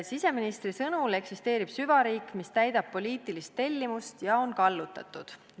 Siseministri sõnul eksisteerib süvariik, mis täidab poliitilist tellimust ja on kallutatud.